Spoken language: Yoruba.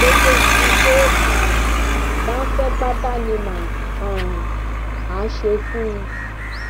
gbogbo nǹkan tó um bá ń fẹ pátá ni mà um á ṣe fún un